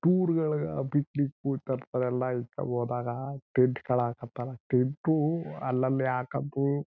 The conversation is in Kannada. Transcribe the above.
ಟೂರ್ ಗಳಿಗ ಪಿಕ್ನಿಕ್ ಹೋದಾಗ ಟೆಂಟ್ ಗಳು ಹಕ್ಕತರ ಟೆಂಟ್ ಅಲ್ಲಲ್ಲಿ ಹಾಕೊಂಡು--